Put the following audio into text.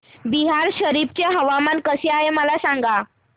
बिहार शरीफ चे हवामान कसे आहे मला सांगा